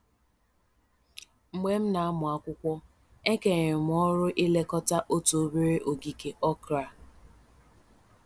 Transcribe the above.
Mgbe m na-amụ akwụkwọ, e kenyere m ọrụ ilekọta otu obere ogige okra.